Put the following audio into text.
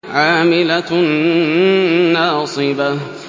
عَامِلَةٌ نَّاصِبَةٌ